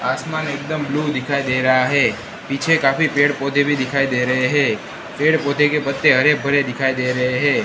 आसमान एकदम ब्लू दिखाई दे रहा है पीछे काफी पेड़ पौधे भी दिखाई दे रहे हैं पेड़ पौधे के पत्ते हरे भरे दिखाई दे रहे है।